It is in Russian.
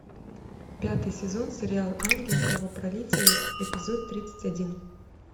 пятый сезон сериал ангел кровопролитие эпизод тридцать один